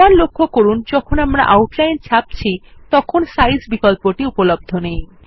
আবার লক্ষ্য করুন যখন আমরা আউটলাইন ছাপছি তখন সাইজ বিকল্পটি উপলব্ধ নেই